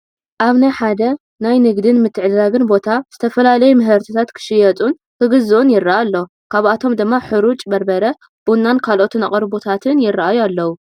ኣብ ሓደ ናይ ንግድን ምትዕድዳግን ቦታ ዝተፈላለዩ ምህርትታት ክሽየጡን ክግዝኡን ይረአ ኣሎ፡፡ ካብኣቶም ድማ ሕሩጭ በርበረ፣ ቡናን ካልኦት ኣቕርቦታትን ይረኣዩ ኣለው፡፡